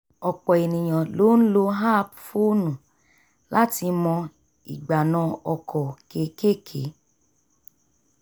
ọ̀pọ̀ ènìyàn ló ń lò app fónù láti mọ ìgbanà ọkọ̀ kékèké